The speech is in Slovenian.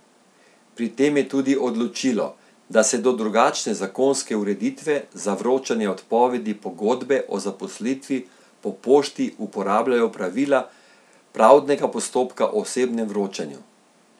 Pri tem je tudi odločilo, da se do drugačne zakonske ureditve za vročanje odpovedi pogodbe o zaposlitvi po pošti uporabljajo pravila pravdnega postopka o osebnem vročanju.